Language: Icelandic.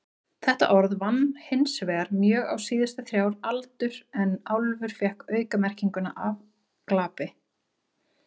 Þetta orð vann hinsvegar mjög á síðustu þrjár aldur en álfur fékk aukamerkinguna afglapi.